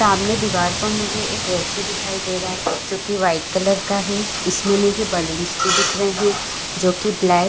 सामने दीवार पर मुझे एक ऐसी दिखाई दे रहा है जो की वाइट कलर का हैं इसमें मुझे बलून्स भी दिख रहे है जो की ब्लैक --